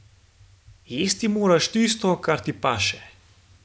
Jesti moraš tisto, kar ti paše.